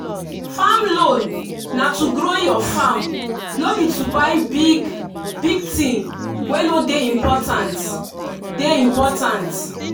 farm loan na to grow your farm no be to buy big-big thing wey no dey important. dey important.